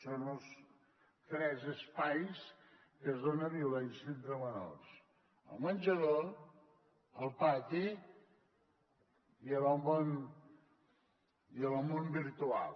són els tres espais en què es dona violència entre menors el menjador el pati i en el món virtual